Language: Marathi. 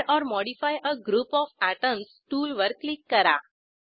add or modify a group of atoms टूलवर क्लिक करा